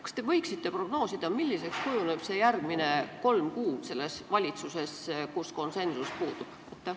Kas te võite prognoosida, milliseks kujunevad järgmised kolm kuud selles valitsuses, kus konsensus puudub?